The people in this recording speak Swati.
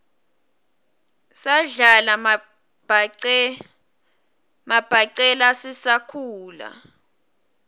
sadlala mabhacelaua sisakhula